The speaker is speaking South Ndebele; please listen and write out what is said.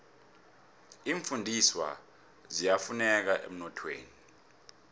iimfundiswa ziyafuneka emnothweni